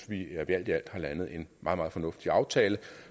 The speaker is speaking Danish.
vi alt i alt har landet en meget meget fornuftig aftale